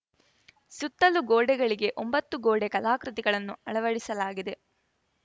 ಸುತ್ತಲು ಗೋಡೆಗಳಿಗೆ ಒಂಬತ್ತು ಗೋಡೆ ಕಲಾ ಕೃತಿಗಳನ್ನು ಅಳವಡಿಸಲಾಗಿದೆ